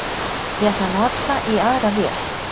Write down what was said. Ég ætla að nota í aðra vél